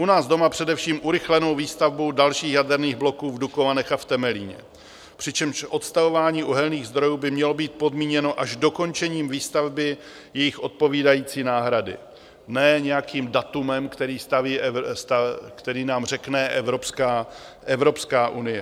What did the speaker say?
U nás doma především urychlenou výstavbou dalších jaderných bloků v Dukovanech a v Temelíně, přičemž odstavování uhelných zdrojů by mělo být podmíněno až dokončením výstavby jejich odpovídající náhrady, ne nějakým datem, které nám řekne Evropská unie.